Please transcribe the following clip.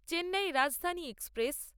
Chennai Rajdhani express